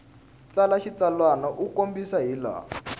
tsala xitsalwana u kombisa hilaha